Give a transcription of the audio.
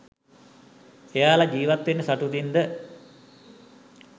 එයාල ජීවත්වෙන්නෙ සතුටින්ද